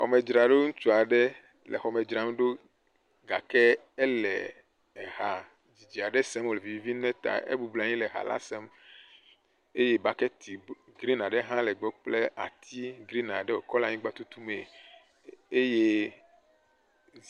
Xɔmedzraɖo. Ŋutsu aɖe le xɔmedzraɖo gake ele eha vi aɖe sem wo vivim nɛ ta ebɔbɔnɔ anyi wo le ha la sem eye bɔketi grin aɖe hã le egbɔ kple ati grin aɖe wokɔ le anyigba tutu mee eye.